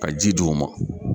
Ka ji d'u ma.